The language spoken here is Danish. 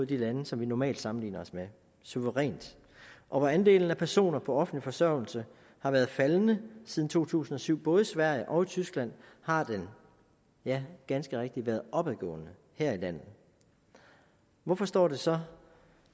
de lande som vi normalt sammenligner os med suverænt og hvor andelen af personer på offentlig forsørgelse har været faldende siden to tusind og syv både i sverige og i tyskland har den ja ganske rigtigt været opadgående her i landet hvorfor står det så